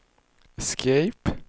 escape